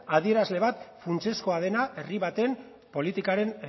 adierazle bat funtsezkoa dena herri baten politikaren